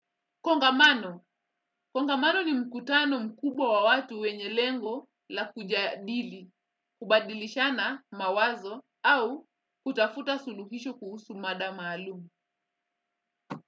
Kongamano, kongamano ni mkutano mkubwa wa watu wenye lengo la kujadili, kubadilishana mawazo au kutafuta suluhisho kuhusu mada maalumu.